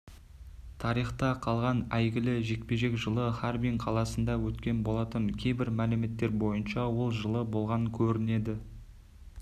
тарихта қалған әйгілі жекпе-жек жылы харбин қаласында өткен болатын кейбір мәліметтер бойынша ол жылы болған көрінеді